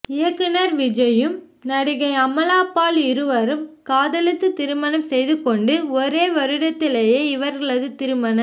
இயக்குனர் விஜயும் நடிகை அமலாபால் இருவரும் காதலித்து திருமணம் செய்து கொண்டு ஒரு வருடத்திலேயே இவர்களது திருமண